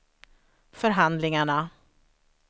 förhandlingarna